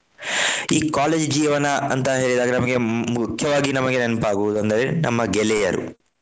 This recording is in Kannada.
ಈ college ಜೀವನ ಅಂತ ಹೇಳಿದಾಗ ನಮ್ಗೆ ಮುಖ್ಯವಾಗಿ ನಮಗೆ ನೆನಪಾಗುವುದು ಅಂದ್ರೆ ನಮ್ಮ ಗೆಳೆಯರು.